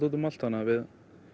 úti um allt þannig við